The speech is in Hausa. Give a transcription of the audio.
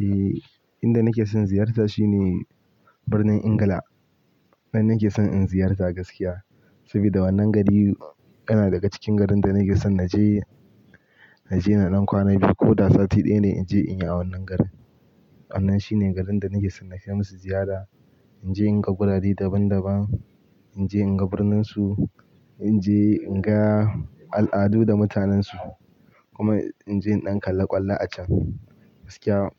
Eh, inda nake son ziyarta shine Birnin Ingila. Nan nake son in ziyarta gaskiya, saboda wannan gari yana daga cikin garin da nake son na je, na je na nan kwana biyu ko sati ɗaya ne in je in yi a wannan garin. Wannan shine garin da nake son na kai musa ziyara, in je in ga gurare daban-daban, in je in ga birnin su, in je in ga al'adu da mutanensu kuma in je in ɗan kalla ƙwallo a can gaskiya.